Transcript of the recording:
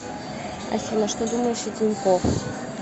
афина что думаешь о тинькоф